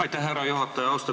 Aitäh, härra juhataja!